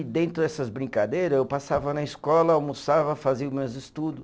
E dentro dessas brincadeira, eu passava na escola, almoçava, fazia o meus estudo.